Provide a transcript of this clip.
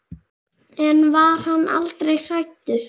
En var hann aldrei hræddur?